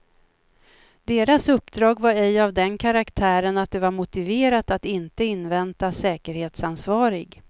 Deras uppdrag var ej av den karaktären att det var motiverat att inte invänta säkerhetsansvarig.